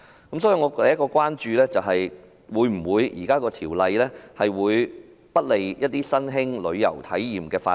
所以，我第一項關注的是《條例草案》會否不利新興旅遊體驗的發展。